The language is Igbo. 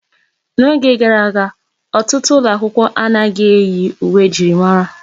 N'oge gara aga, ọtụtụ ụlọ akwụkwọ anaghị eyi uwe njirimara.